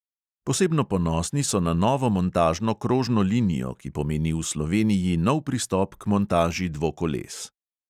Posebno ponosni so na novo montažno krožno linijo, ki pomeni v sloveniji nov pristop k montaži dvokoles.